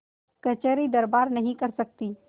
कचहरीदरबार नहीं कर सकती